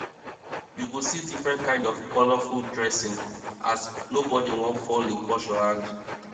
yu go see diffrent kind of colorful dressing as nobodi wan fall him culture hand